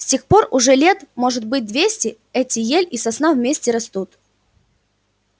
с тех пор уже лет может быть двести эти ель и сосна вместе растут